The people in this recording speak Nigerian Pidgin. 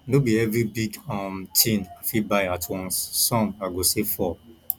no be every big um thing i fit buy at once some i go save for